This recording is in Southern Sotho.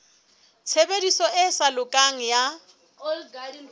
tshebediso e sa lokang ya